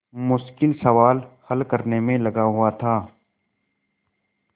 मुश्किल सवाल हल करने में लगा हुआ था